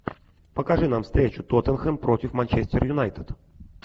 покажи нам встречу тоттенхэм против манчестер юнайтед